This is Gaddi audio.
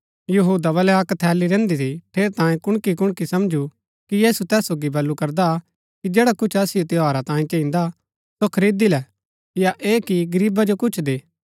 यहूदा बलै अक्क थैली रैहन्‍दी थी ठेरैतांये कुणकी कुणकी समझू कि यीशु तैस सोगी बल्लू करदा हा कि जैडा कुछ असिओ त्यौहारा तांयें चहिन्दा सो खरीदी लै या ऐह कि गरीबा जो कुछ दे